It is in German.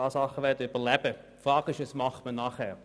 Es stellt sich die Frage, wie es danach weitergeht.